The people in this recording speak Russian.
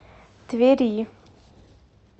твери